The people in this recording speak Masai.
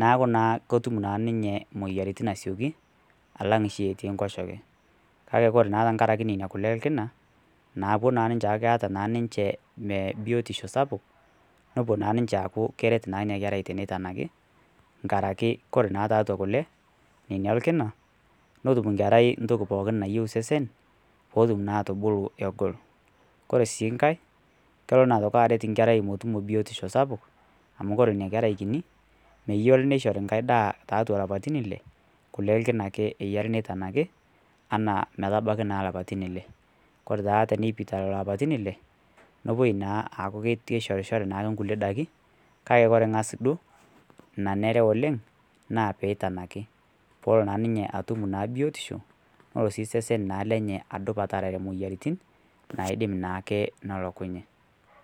naaku naa kotum naa ninyee moyaritin asiokii alang shii etii nkoshee kakee kore naa tankarakee nenia kulee ee lkinaa naaku keata naa ninchee inia biotishoo sapuk nopuo naa ninshee aaku keret naa inia kerai teneitanakii nkarakee kore naa taatua kulee nenia ellkinaa notum nkerai ntokii pooki nayeu sesen potum naa atubuluu egol kore sii nghai koloo naa otokii aret nkerai motumoo biotishoo sapuk amu kore inia kerai kinii meyarii neishorii nghai daa taatua lapatin ilee kulee ee lkinaa ake eyarii neitanakii anaa naa metabakii naa lapatin ilee kore taa teneipitaaa lolo apatin ilee nopoi naa aaaku keishoriri naake nkulie dakii kakee kore ngaz duo nanere oleng naa peitanakii polo naa ninye naa atum biotishoo noloo sii sesen adup aterere moyanitin naidim naake nolokunyee.